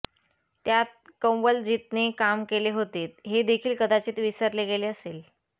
त्यात कंवलजीतने काम केले होते हे देखिल कदाचित विसरले गेले असेल